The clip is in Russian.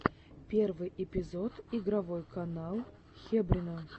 первый эпизод игровой канал хебрина